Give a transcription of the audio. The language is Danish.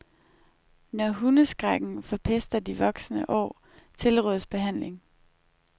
Når hundeskrækken forpester de voksne år, tilrådes behandling.